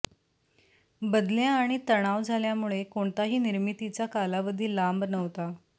बदल्या आणि तणाव झाल्यामुळे कोणताही निर्मितीचा कालावधी लांब नव्हता